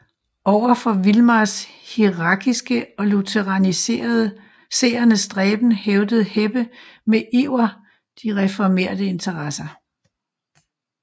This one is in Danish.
Over for Vilmars hierarkiske og lutheraniserende stræben hævdede Heppe med iver de reformerte interesser